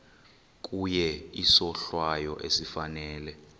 kuye isohlwayo esifanele